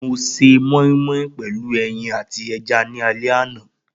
Mo se moimoi pelu eyin ati eja ni ale ana.